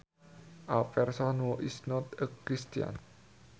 A person who is not a Christian